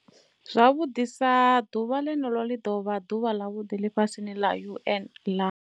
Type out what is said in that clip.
Zwavhuḓisa, ḓuvha ḽeneḽo ḽi dovha ḓuvha ḽa vhuḓ ḽifhasini ḽa UN ḽa.